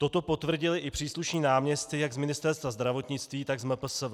Toto potvrdili i příslušní náměstci jak z Ministerstva zdravotnictví, tak z MPSV.